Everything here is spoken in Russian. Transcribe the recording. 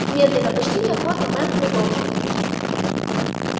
медленно почти неохотно мэр продолжил